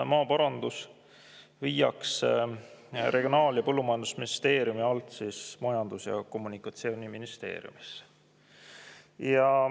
Maaparandus viiakse Regionaal- ja Põllumajandusministeeriumi alt Majandus- ja Kommunikatsiooniministeeriumisse.